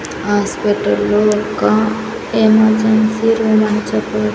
హాస్పిటల్లో యొక్క emergency room అని చెప్పవ--